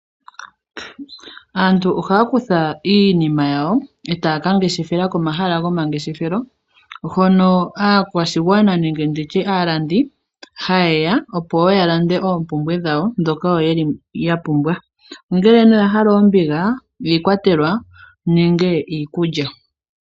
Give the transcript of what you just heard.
Aantu ohaya kutha iinima yawo etaya kangeshefela komahala gomangeshefelo , hono aakwashigwana nenge aalandi hayeya opo woo yalande oompumbwe dhawo ndhoka yapumbwa. Ongele yahala oombiga niikwatelwa nenge iikulya.